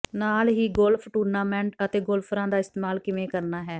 ਨਾਲ ਹੀ golf tournament ਅਤੇ ਗੋਲਫਰਾਂ ਦਾ ਇਸਤੇਮਾਲ ਕਿਵੇਂ ਕਰਨਾ ਹੈ